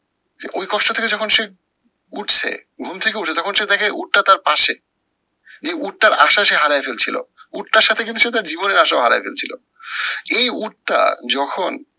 ওই কষ্ট থেকে যখন সে উঠছে ঘুম থেকে উঠে তখন সে দেখে উটটা তার পাশে, যে উটটার আশা সে হারায় ফেলছিলো। উটটার সাথে কিন্তু সে তার জীবনের আশাও হারায় ফেলছিলো। এই উটটা যখন